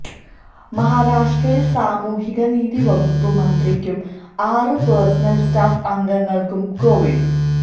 മഹാരാഷ്ട്രയിൽ സാമൂഹികനീതി വകുപ്പ് മന്ത്രിക്കും ആറ് പേഴ്സണൽ സ്റ്റാഫ് അംഗങ്ങൾക്കും കൊവിഡ്